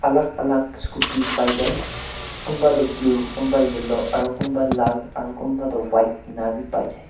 alag alag scooty pai jai kunba tu blue kunba yellow aru kun ba lal aru kunba toh white ena bhi pai jai.